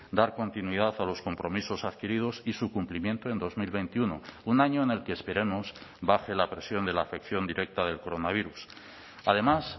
dar continuidad a los compromisos adquiridos y su cumplimiento en dos mil veintiuno un año en el que esperemos baje la presión de la afección directa del coronavirus además